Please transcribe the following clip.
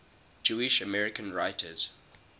jewish american writers